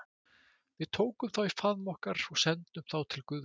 Við tökum þá í faðm okkar og sendum þá til guðs.